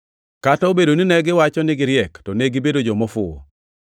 Kata obedo ni negiwacho ni giriek, to negibedo joma ofuwo,